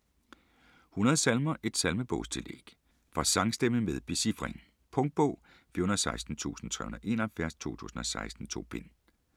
100 salmer: et salmebogstillæg For sangstemme med becifring. Punktbog 416371 2016. 2 bind.